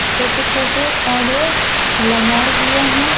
छोटे-छोटे पौधे लगाए हुए हैं।